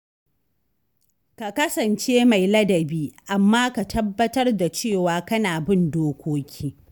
Ka kasance mai ladabi amma ka tabbatar da cewa kana bin dokoki.